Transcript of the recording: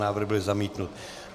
Návrh byl zamítnut.